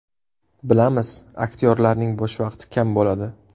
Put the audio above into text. Bilamiz aktyorlarning bo‘sh vaqti kam bo‘ladi.